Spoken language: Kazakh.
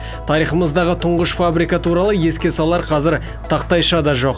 тарихымыздағы тұңғыш фабрика туралы еске салар қазір тақтайша да жоқ